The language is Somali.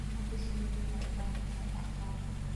Xannaanada shinnidu waxay u baahan tahay aqoon.